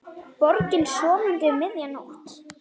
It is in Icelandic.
Borgin sofandi um miðja nótt.